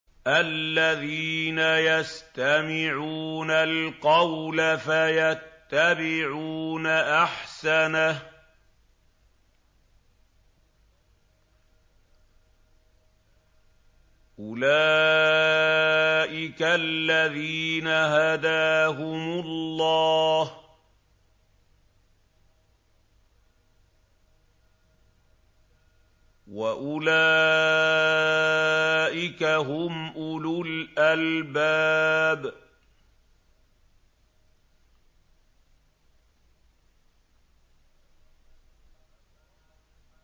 الَّذِينَ يَسْتَمِعُونَ الْقَوْلَ فَيَتَّبِعُونَ أَحْسَنَهُ ۚ أُولَٰئِكَ الَّذِينَ هَدَاهُمُ اللَّهُ ۖ وَأُولَٰئِكَ هُمْ أُولُو الْأَلْبَابِ